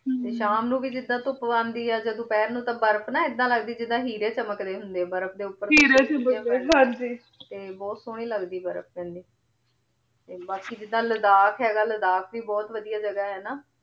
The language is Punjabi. ਟੀ ਸ਼ਾਮ ਨੂ ਵੀ ਜਿਦਾਂ ਧੁਪ ਆਂਦੀ ਆਯ ਜਦੋਂ ਦੋਪਹਰ ਨੂ ਤਾਂ ਬਰਫ ਨਾ ਏਦਾਂ ਲਗਦੀ ਆਯ ਜਿਦਾਂ ਹੀਰੇ ਚਮਕ ਰਹੀ ਹੁੰਦੇ ਆ ਬਰਫ ਤੇ ਉਪਰ ਹੀਰੇ ਚਮਕ ਰਹੀ ਹਾਂਜੀ ਤੇ ਬੋਹਤ ਸੋਹਨੀ ਲਗਦੀ ਬਰਫ ਪੈਂਦੀ ਤੇ ਬਾਕ਼ੀ ਜਿਦਾਂ ਲਦਾਖ ਹੇਗਾ ਲਦਾਖ ਵੀ ਬੋਹਤ ਵਾਦਿਯ ਜਗਾ ਹੈਨਾ